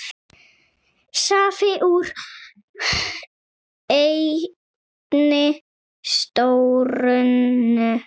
Safi úr einni sítrónu